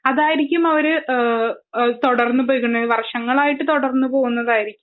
അതായിരിക്കും അവർ തുടർന്ന് പോയിക്കൊണ്ടിരിക്കുന്നത് വർഷങ്ങളായിട്ട് തുടർന്ന് പോകുന്നതായിരിക്കും